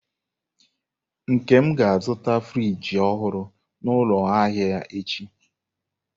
Nkem ga-azụta friji ọhụrụ n'ụlọ ahịa echi?